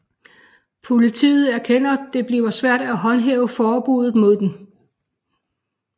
Politiet erkender det bliver svært at håndhæve forbuddet mod den